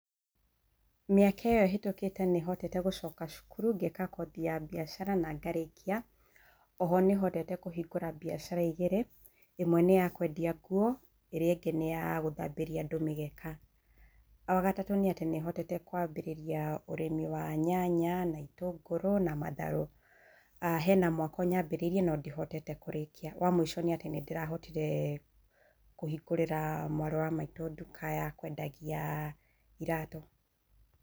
Mĩaka ĩyo ĩhetũkĩte nĩhotete gũcoka cukuru, ngeka kothi ya mbiacara na ngarĩkia. Oho nĩhotete kũhingũra mbiacara igĩrĩ, ĩmwe nĩ ya kwendia nguo, ĩrĩa ĩngĩ nĩ ya gũthambĩria andũ mĩgeka. Wagatatũ nĩatĩ nĩhotete kwambĩrĩria ũrĩmĩ wa nyanya na itũngũrũ na matharũ. Hena mwako nyambĩrĩirie no ndihotete kũrĩkia. Wa mũico nĩatĩ nĩndĩrahotire kũhingũrĩra mwarĩ wa maitũ nduka ya kwendagia iratũ.